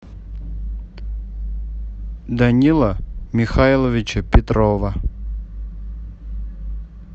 данила михайловича петрова